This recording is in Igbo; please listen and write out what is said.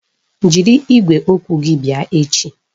Jiri igwe okwu gị bịa echi!